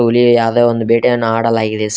ಹುಲಿ ಯಾವುದೇ ಒಂದು ಭೇಟಿಯನ್ನು ಹಾಡಲಾಗಿದೆ ಸರ್ .